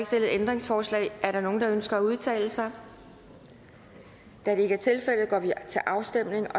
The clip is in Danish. stillet ændringsforslag er der nogen der ønsker at udtale sig da det ikke er tilfældet går vi til afstemning